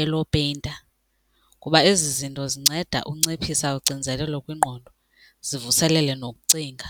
elopeyinta kuba ezi zinto zinceda unciphisa ucinzelelo kwingqondo, zivuselele nokucinga.